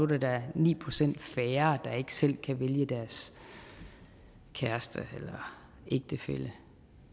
der da ni procent færre der ikke selv kan vælge deres kæreste eller ægtefælle